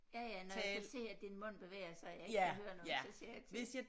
Ja ja når jeg kan se at din mund bevæger sig og jeg ikke kan høre noget så siger jeg til